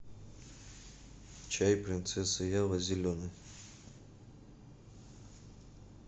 чай принцесса ява зеленый